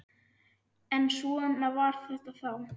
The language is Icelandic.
En svona var þetta þá.